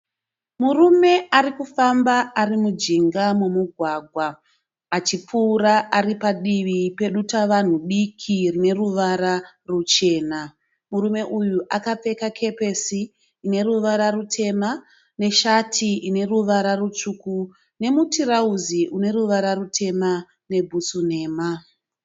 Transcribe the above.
Murume ari kufamba ari mujinga memugwagwa achipfuura ari padivi pedutavanhu diki rine ruvara ruchena. Murume uyu akapfeka kepesi ine ruvara rutema neshati ine ruvara rutsvuku nemutirauzi une ruvara rutema nebhutsu nhema.